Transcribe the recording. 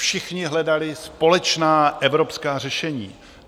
Všichni hledali společná evropská řešení.